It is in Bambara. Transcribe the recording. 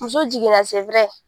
Muso jiginna